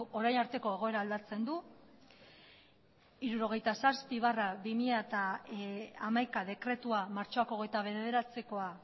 orain arteko egoera aldatzen du martxoaren hogeita bederatziko hirurogeita zazpi barra bi mila hamaika dekretua